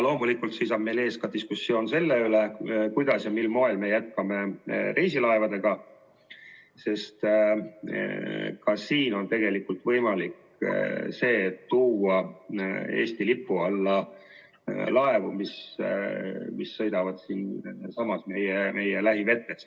Loomulikult seisab meil ees ka diskussioon selle üle, kuidas me jätkame reisilaevadega, sest ka siin on tegelikult võimalik see, et tuua Eesti lipu alla laevu, mis sõidavad siinsamas meie lähivetes.